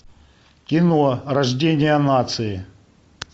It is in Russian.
кино рождение нации